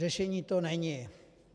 Řešení to není.